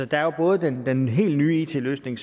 der er jo både den helt nye it løsning